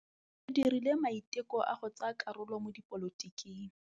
O dirile maitekô a go tsaya karolo mo dipolotiking.